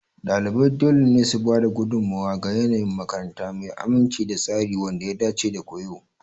Ɗalibai dole ne su ba da gudummawa ga yanayin makaranta mai aminci da tsari wanda ya dace da koyo.